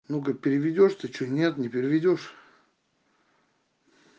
ну как переведёшь ты что нет не переведёшь